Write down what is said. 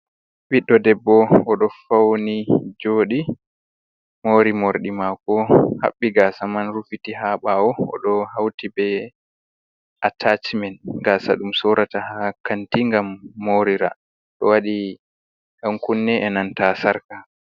Ɓiɗɗo debbo oɗo fauni joɗi mori morɗi mako haɓɓi gasa man rufiti ha ɓawo, oɗo hauti be atachmen gasa ɗum sorata ha kanti ngam morira. Ɗo waɗi yankunne e'nanta sarka.